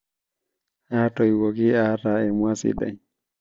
atoiwuoki ata emua sidai